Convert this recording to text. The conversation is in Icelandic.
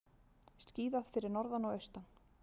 Skíðað fyrir norðan og austan